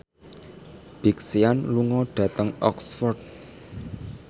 Big Sean lunga dhateng Oxford